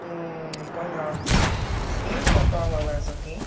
понятно скинь портал в лс окей